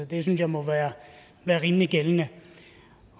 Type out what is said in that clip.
det synes jeg må være rimelig gældende